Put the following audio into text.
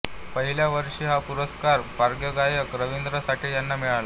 पहिल्या वर्षी हा पुरस्कार पार्श्वगायक रवींद्र साठे यांना मिळाला